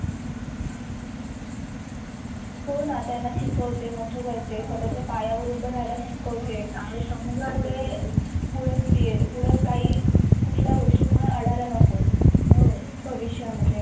हो न त्यांना शिकवते, मोठ करते, स्वताच्‍या पायवर उभ राहायला शिकवते. पुढे कुठल्या गोष्टीमुळे अडायला नको भविष्य मधे.